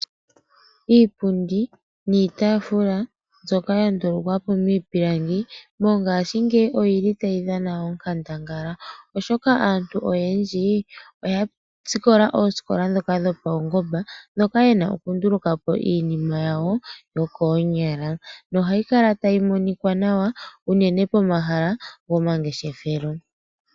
Iipundi niitaafula mbyoka ya ndulukwa po miipilangi mongashingeyi oyi li tayi dhana onkandangala oshoka aantu oyendji oya sikola koosikola dhomaungomba hoka ya longwa nkene ye na oku nduluka po iinima taya longitha oonyala. Iihongomwa mbika ohayi kala tayi monika nawa unene komahala gomangeshefelo.